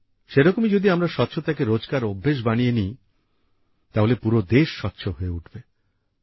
সেরকমই যদি আমরা স্বচ্ছতাকে রোজকার অভ্যেস বানিয়ে নিই তাহলে পুরো দেশ স্বচ্ছ হয়ে উঠবে